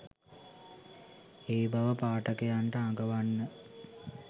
ඒ බව පාඨකයන්ට අඟවන්න